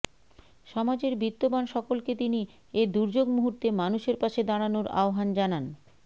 সমাজের বিত্তবান সকলকে তিনি এ দুর্যোগ মুহূর্তে মানুষের পাশে দাঁড়ানোর আহ্বান জানান